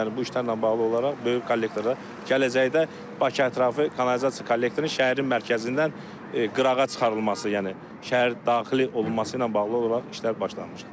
Yəni bu işlərlə bağlı olaraq böyük kollektorlar gələcəkdə Bakı ətrafı kanalizasiya kollektorunun şəhərin mərkəzindən qırağa çıxarılması, yəni şəhər daxili olunması ilə bağlı olaraq işlər başlanmışdı.